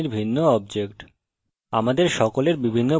আমরা সকলে we শ্রেণীর ভিন্ন objects